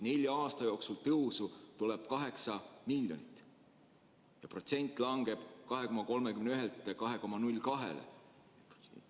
Nelja aasta jooksul on kasv kaheksa miljonit ja osakaal langeb 2,31%-lt 2,02%-le.